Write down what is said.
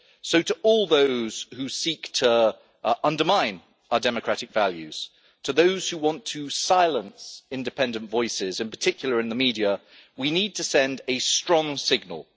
So to all those who seek to undermine our democratic values and to those who want to silence independent voices, in particular in the media, we need to send a strong signal.